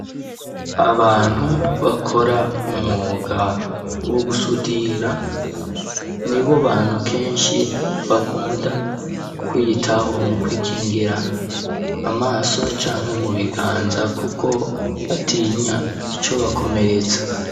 Abantu, bakora umwuga, wo gusudira, nibo bantu, kenshi, bakunda kwiyitaho; mu kwikingira amaso, canke mu biganza, kuko batinya, icobakomeretsa.